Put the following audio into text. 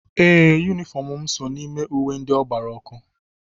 Ee, Yunifọm mụ so n'ime uwe ndị ọ gbara ọkụ.